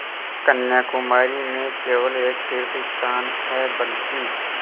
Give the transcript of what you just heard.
कन्याकुमारी में केवल एक तीर्थस्थान है बल्कि